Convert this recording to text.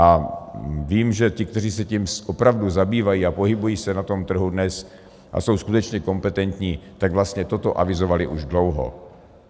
A vím, že ti, kteří se tím opravdu zabývají a pohybují se na tom trhu dnes a jsou skutečně kompetentní, tak vlastně toto avizovali už dlouho.